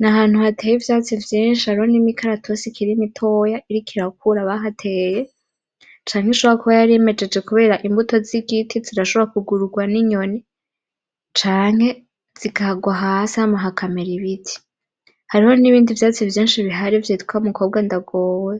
N’ahantu hateye ivyatsi vyinshi hariho n’imikaratusi ikiri mitoyi iriko irakura bahateye canke ishobora kuba yarimejeje kubera imbuto z’igiti zirashobora kugururwa n’inyoni. Canke zikarwa hasi hakamera ibiti. Hariho nibindi vyatsi vyinshi bihari bita mukobwa ndagowe